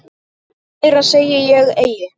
Meira segi ég eigi.